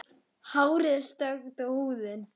Hárið er stökkt og húðin.